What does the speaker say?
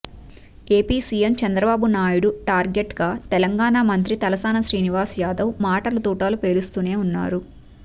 AP CM Chandrababu Naidu target గా తెలంగాణ మంత్రి తలసాని శ్రీనివాస్ యాదవ్ మాటల తూటాలు పేలుస్తూనే ఉన్నారు